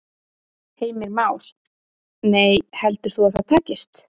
Heimir Már: Nei, heldur þú að það takist?